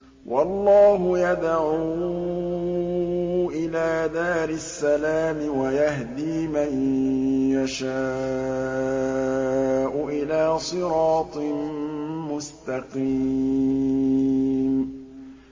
وَاللَّهُ يَدْعُو إِلَىٰ دَارِ السَّلَامِ وَيَهْدِي مَن يَشَاءُ إِلَىٰ صِرَاطٍ مُّسْتَقِيمٍ